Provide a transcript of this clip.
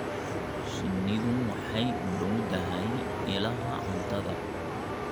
Shinnidu waxay u dhowdahay ilaha cuntada.